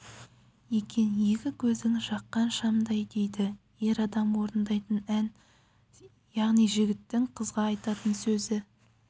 екен екі көзің жаққан шамдай дейді ер адам орындайтын ән яғни жігіттің қызға айтатын сөзі